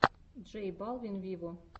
джей балвин виво